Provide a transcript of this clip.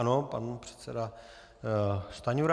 Ano, pan předseda Stanjura.